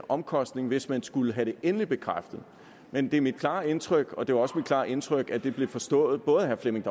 omkostninger hvis man skulle have det endeligt bekræftet men det er mit klare indtryk og det var også mit klare indtryk at det blev forstået både af herre flemming